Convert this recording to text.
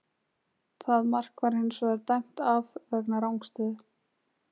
Það mark var hins vegar dæmt af vegna rangstöðu.